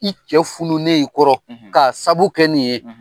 I cɛ fununen i kɔrɔ ka sabu kɛ nin ye